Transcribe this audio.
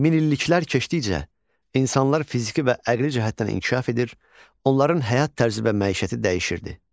Minilliklər keçdikcə insanlar fiziki və əqli cəhətdən inkişaf edir, onların həyat tərzi və məişəti dəyişirdi.